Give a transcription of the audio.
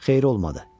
Xeyri olmadı.